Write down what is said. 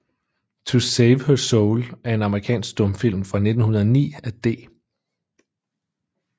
To Save Her Soul er en amerikansk stumfilm fra 1909 af D